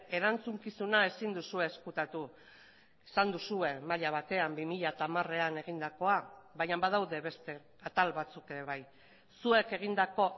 erantzukizuna ezin duzue ezkutatu esan duzue maila batean bi mila hamarean egindakoa baina badaude beste atal batzuk ere bai zuek egindako